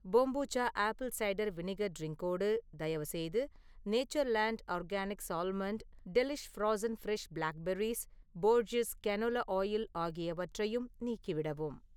Kombucha apple cider vinegar ட்ரின்க்கோடு, தயவுசெய்து Natureland organics almond, delish frozen fresh black berries போர்ஜீஸ் canola oil ஆகியவற்றையும் நீக்கிவிடவும்.